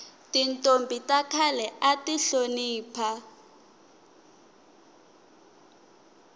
tintombhi ta khale ati hlonipha